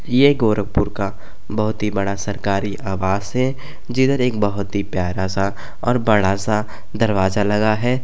ये गोरखपुर का बहुत ही बड़ा सरकारी आवास है। जिधर एक बहुत ही प्यारा सा और बड़ा सा दरवाजा लगा है।